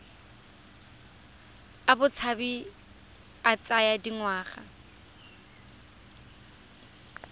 a botshabi a tsaya dingwaga